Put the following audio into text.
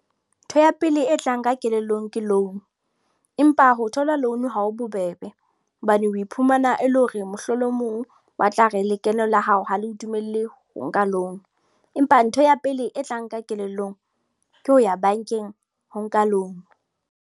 Ntho ya pele e tlang ka kelellong ke loan. Empa ho thola loan, ha ho bobebe. Hobane o iphumana e le hore mohlolomong ba tla re lekeno la hao ho le ho dumelle ho nka loan. Empa ntho ya pele e tlang ka kelellong, ke ho ya bankeng ho nka loan.